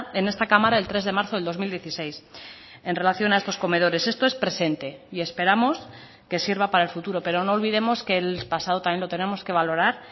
en esta cámara el tres de marzo del dos mil dieciséis en relación a estos comedores esto es presente y esperamos que sirva para el futuro pero no olvidemos que el pasado también lo tenemos que valorar